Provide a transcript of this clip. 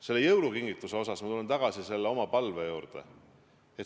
Selle jõulukingituse puhul tulen ma tagasi oma palve juurde.